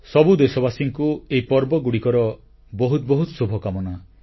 ସବୁ ଦେଶବାସୀଙ୍କୁ ଏହି ପର୍ବଗୁଡ଼ିକର ବହୁତ ବହୁତ ଶୁଭକାମନା